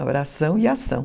Oração e ação.